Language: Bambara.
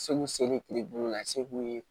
Segu seli tile bulu la se b'u ye